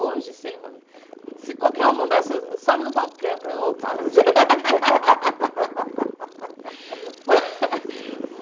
Hoje, se ele man se qualquer um mandasse, eu sobe no palco e canta. Eu opa